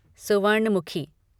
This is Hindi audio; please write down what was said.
सुवर्णमुखी